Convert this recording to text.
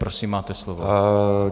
Prosím, máte slovo.